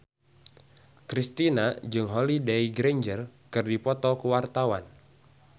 Kristina jeung Holliday Grainger keur dipoto ku wartawan